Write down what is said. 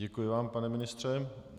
Děkuji vám, pane ministře.